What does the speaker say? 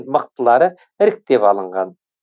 мықтылары іріктеп алынған